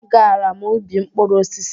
A gara m ubi mkpụrụ osisi.